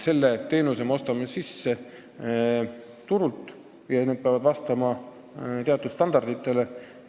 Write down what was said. Me ostame turult sisse selle teenuse, mis peab vastama teatud standarditele.